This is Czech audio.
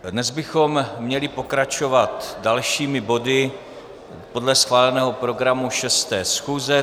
Dnes bychom měli pokračovat dalšími body podle schváleného programu 6. schůze.